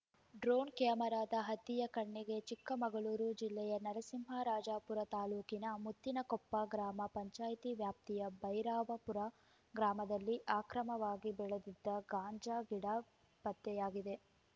drone ಕ್ಯಾಮೆರಾದ ಹದ್ದಿಯ ಕಣ್ಣಿಗೆ ಚಿಕ್ಕಮಗಳೂರು ಜಿಲ್ಲೆಯ ನರಸಿಂಹರಾಜಪುರ ತಾಲೂಕಿನ ಮುತ್ತಿನಕೊಪ್ಪ ಗ್ರಾಮ ಪಂಚಾಯಿತಿ ವ್ಯಾಪ್ತಿಯ ಬೈರಾಪುರ ಗ್ರಾಮದಲ್ಲಿ ಆಕ್ರಮವಾಗಿ ಬೆಳೆದಿದ್ದ ಗಾಂಜಾ ಗಿಡ ಪತ್ತೆಯಾಗಿದೆ